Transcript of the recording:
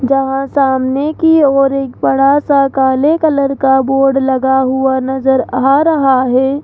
जहां सामने की ओर एक बड़ा सा काले कलर का बोर्ड लगा हुआ नजर आ रहा है।